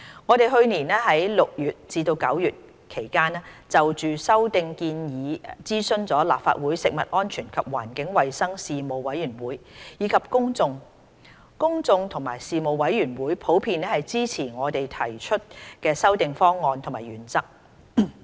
我們去年6月至9月期間就修訂建議諮詢了立法會食物安全及環境衞生事務委員會及公眾，公眾及事務委員會普遍支持我們提出的修訂方案及原則。